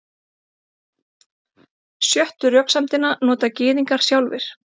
Sjöttu röksemdina nota Gyðingar sjálfir.